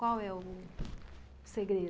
Qual é o segredo?